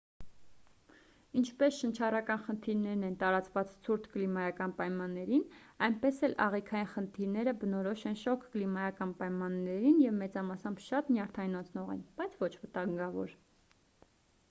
ինչպես շնչառական խնդիրներն են տարածված ցուրտ կլիմայական պայմաններին այնպես էլ աղիքային խնդիրները բնորոշ են շոգ կլիմայական պայմաններին և մեծամասամբ շատ նյարդայնացնող են բայց ոչ վտանգավոր